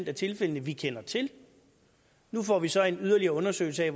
de tilfælde vi kender til nu får vi så en yderligere undersøgelse af